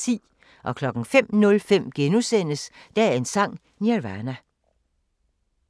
05:05: Dagens Sang: Nirvana *